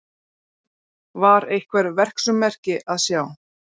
Var einhver verksummerki að sjá?